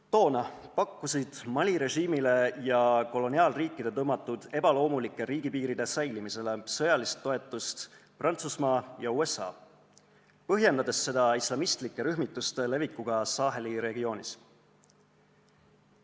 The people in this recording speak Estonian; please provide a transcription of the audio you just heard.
Toona pakkusid Mali režiimile ja koloniaalriikide tõmmatud ebaloomulike riigipiiride säilimisele sõjalist toetust Prantsusmaa ja USA, põhjendades seda islamistlike rühmituste levikuga Saheli regioonis.